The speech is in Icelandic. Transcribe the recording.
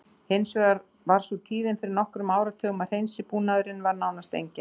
Hins vegar var sú tíðin fyrir nokkrum áratugum að hreinsibúnaður var nánast enginn.